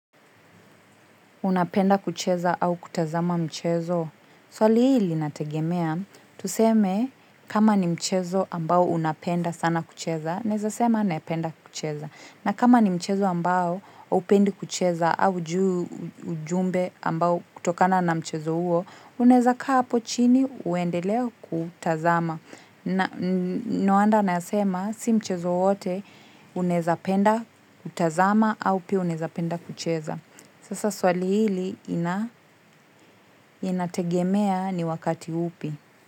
Unapenda kucheza au kutazama mchezo. Swali hili linategemea. Tuseme kama ni mchezo ambao unapenda sana kucheza. Naweza sema napenda kucheza. Na kama ni mchezo ambao hupendi kucheza au juu ujumbe ambao kutokana na mchezo huo. Unaweza kaa hapo chini uendelea kutazama. Na no wonder nasema si mchezo wowote unaweza penda kutazama au pia unaweza penda kucheza. Sasa swali hili inategemea ni wakati upi.